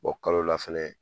Bɔ kalo la fɛnɛ